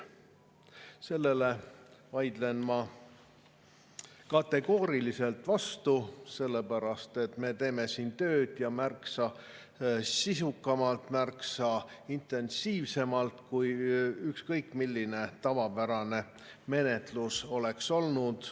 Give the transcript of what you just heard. Sellele vaidlen ma kategooriliselt vastu, sellepärast et me teeme siin tööd ja märksa sisukamalt, märksa intensiivsemalt, kui ükskõik milline tavapärane menetlus oleks olnud.